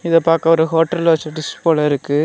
இது பாக்க ஒரு ஹோட்டல்ல வச்ச டிஷ் போல இருக்கு.